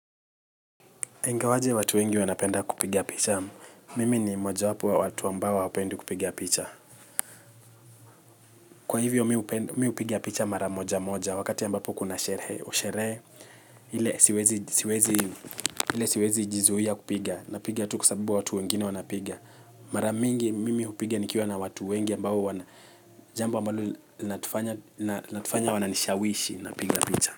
Engawaje watu wengi wanapenda kupiga picha, mimi ni mmoja wapo wa watu ambao hawapendi kupiga picha. Kwa hivyo mi upiga picha mara moja moja, wakati ambapo kuna sherehe ile siwezi ili siwezi jizuia kupiga, napiga tu kwa sababu watu wengine wanapiga. Maramingi mimi hupiga nikiwa na watu wengi ambao wana, jamba ambalo linatufanya natufanye wananishawishi napiga picha.